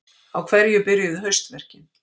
Á hverju byrjuðu haustverkin?